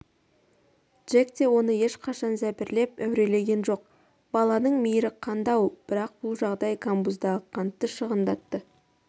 джек те оны ешқашан зәбірлеп әурелеген жоқ баланың мейірі қанды-ау бірақ бұл жағдай камбуздағы қантты шығындатты